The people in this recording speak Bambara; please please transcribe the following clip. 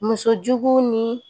Musojugu ni